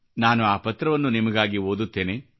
ನಾನು ಆ ಪತ್ರವನ್ನು ನಿಮಗಾಗಿ ಓದುತ್ತೇನೆ